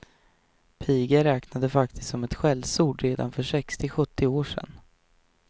Piga räknades faktiskt som skällsord redan för sextio, sjuttio år sedan.